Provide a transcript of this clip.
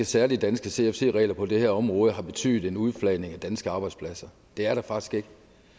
særlige danske cfc regler på det her område har betydet en udflagning af danske arbejdspladser det er der faktisk ikke